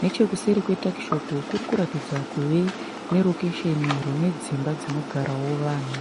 Nechekuseri kwe takishopu kuri kuratidza kuve nerokesheni rune dzimba dzinogara vanhu.